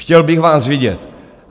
Chtěl bych vás vidět.